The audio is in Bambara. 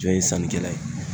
Jɔn ye sannikɛla ye